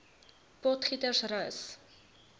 potgietersrus